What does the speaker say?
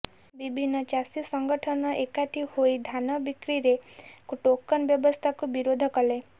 ବିଭିନ୍ନ ଚାଷୀ ସଂଗଠନ ଏକାଠି ହୋଇ ଧାନ ବିକ୍ରୀରେ ଟୋକନ ବ୍ୟବସ୍ଥାକୁ ବିରୋଧ କଲେ